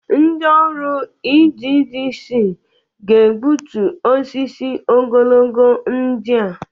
Ndị ọrụ EEDC ga-egbutu osisi ogologo ndị a.